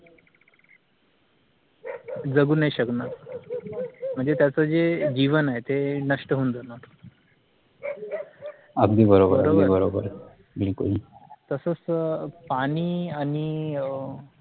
जगू नाही शकणार म्हणजे त्याच जे जीवन आहे ते नष्ट होऊन जाणार तसेच अं पाणी आणि अं